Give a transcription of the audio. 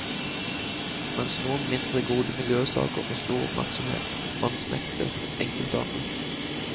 Mens noen mindre gode miljøsaker får stor oppmerksomhet, vansmekter enkelte andre.